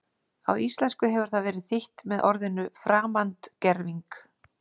Á íslensku hefur það verið þýtt með orðinu framandgerving.